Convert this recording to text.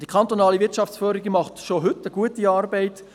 Die kantonale Wirtschaftsförderung leistet schon heute gute Arbeit.